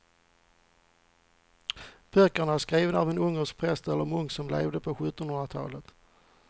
Böckerna är skrivna av en ungersk präst eller munk som levde på sjuttonhundratalet.